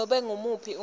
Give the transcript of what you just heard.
nobe ngumuphi umuntfu